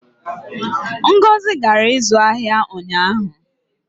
ngozi gara ịzụ ahịa ụnyaahụ